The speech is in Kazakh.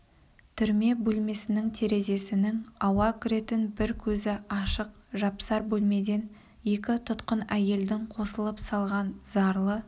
түрме бөлмесінің терезесінің ауа кіретін бір көзі ашық жапсар бөлмеден екі тұтқын әйелдің қосылып салған зарлы